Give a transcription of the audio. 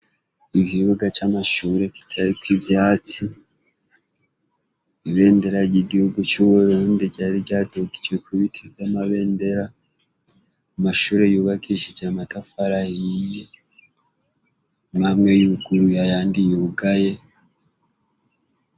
Ikibuga c'amashure giteyeko ivyatsi, ibendera ry'Igihugu c'Uburundi ryari ryadugijwe ku biti vy'amabendera. Amashure yubakishije amatafari ahiye, amwe amwe yuguruye ayandi yugaye.